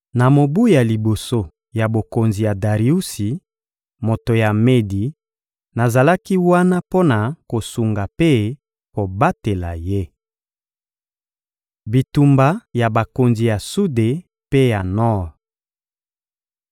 Na mobu ya liboso ya bokonzi ya Dariusi, moto ya Medi, nazalaki wana mpo na kosunga mpe kobatela ye. Bitumba ya bakonzi ya sude mpe ya nor